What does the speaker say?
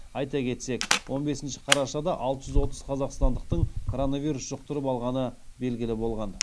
айта кетсек он бесінші қарашада алты жүз отыз қазақстандықтың коронавирус жұқтырып алғаны белгілі болған